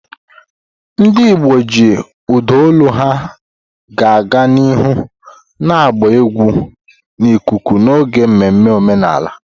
Ndị Igbo ji ụda olu ha ga-aga n'ihu na-agba egwu n'ikuku n'oge mmemme omenala.